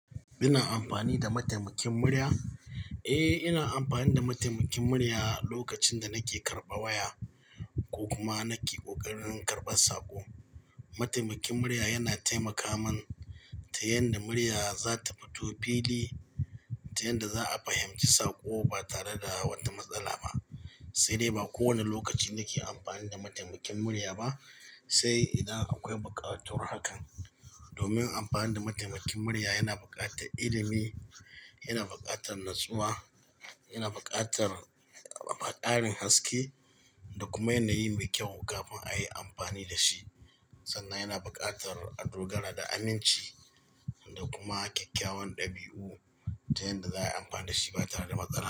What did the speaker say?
Ina amfani da mataimakin murya? Eh ina amfani da mataimakin murya lokacin da nake karɓa waya ko kuma nake ƙoƙarin karɓar saƙo. Mataimakin murya yana taimaka min ta yanda murya za ta fito fili ta yanda za a fahimci saƙo ba tare da wata matsala ba. Sai dai ba kowane lokaci nake amfani da mataimakin murya ba sai idan akwai bukatuwar hakan. Domin amfani da mataimakin murya yana buƙatar ilimi yana buƙatar natsuwa yana buƙatar ƙarin haske da kuma yanayi mai kyau kafin a yi amfani da shi. Sannan yana buƙatar adogara da aminci da kuma kyakkyawan ɗabi'u ta yanda za a yi amfani da shi ba tare da matsala.